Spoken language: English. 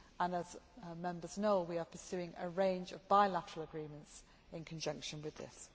As Members know, we are pursuing a range of bilateral agreements in conjunction with this.